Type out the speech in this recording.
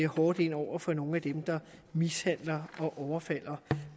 hårdt ind over for nogle af dem der mishandler og overfalder